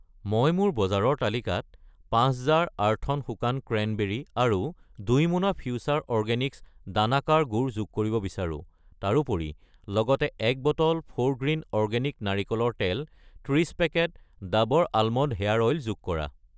মই মোৰ বজাৰৰ তালিকাত 5 জাৰ, আৰ্থ'ন শুকান ক্ৰেনবেৰী আৰু 2 মোনা ফিউচাৰ অৰ্গেনিক্ছ দানাকাৰ গুড় যোগ কৰিব বিচাৰো। তাৰোপৰি, লগতে 1 বটল ফোৰগ্ৰীণ অৰ্গেনিক নাৰিকলৰ তেল , 30 packet Dabur almond hair oil যোগ কৰা।